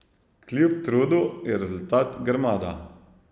Kljub trudu je rezultat grmada.